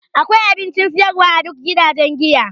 Akwai abincin siyarwa a duk gidajen giya.